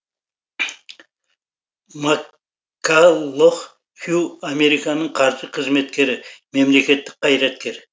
маккаллох хью американың қаржы қызметкері мемлекеттік қайраткер